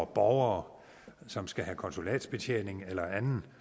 borgere som skal have konsulatsbetjening eller anden